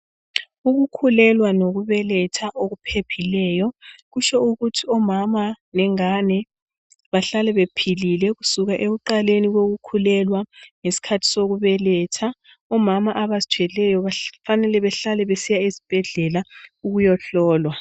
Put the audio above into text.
Ukukhulelwa lokubeletha okuphephileyo kutsho ukuthi omama lengane bahlale bephilile kusukela ekuqaleni kokukhulelwa lesikhathi sokubeletha omama abazithweleyo kufanele behlale besiya esibhedlela ukuyohlolwa.